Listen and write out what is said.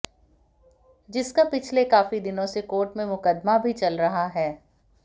जिसका पिछले काफी दिनों से कोर्ट में मुकदमा भी चल रहा है